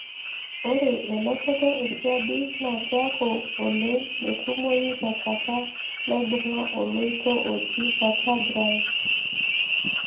ore elototo esiadi na kiaku oleng metumoyu tenkata naibunga oloito oji vertebrae.